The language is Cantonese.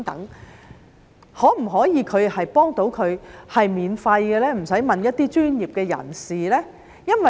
是否可以免費幫助他們，使他們不用去問一些專業的人士呢？